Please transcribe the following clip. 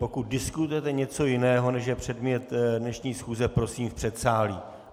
Pokud diskutujete něco jiného, než je předmět dnešní schůze, prosím v předsálí.